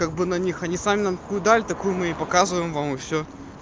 как бы на них они сами нам такую дали такую мы ва и показываем и все